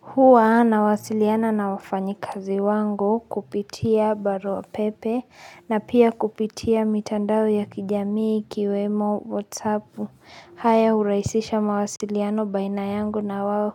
Huwa na wasiliana na wafanyi kazi wangu kupitia barua pepe na pia kupitia mitandao ya kijamii ikiwemo whatsappu haya uraisisha mawasiliano baina yangu na wawo